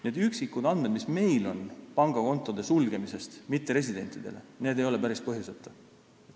Need üksikud andmed, mis meil mitteresidentide pangakontode sulgemise kohta on, näitavad seda, et see ei ole päris põhjuseta.